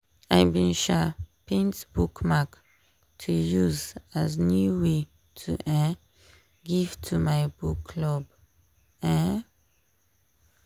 i bin um paint bookmark to use as new way to um give to my book club. um